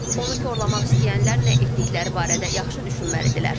Onu korlamaq istəyənlər nə etdikləri barədə yaxşı düşünməlidirlər.